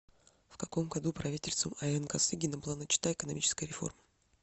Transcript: в каком году правительством а н косыгина была начата экономическая реформа